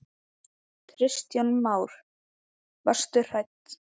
Kristján Már: Varstu hrædd?